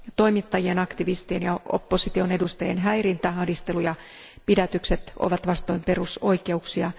Toimittajien, aktivistien ja opposition edustajien häirintä, ahdistelu ja pidätykset ovat vastoin perusoikeuksia.